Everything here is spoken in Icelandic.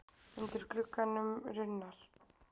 Undir glugganum runnar.